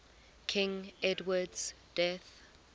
king edward's death